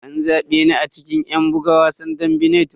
An zabe ni a cikin yan buga wasan badminton.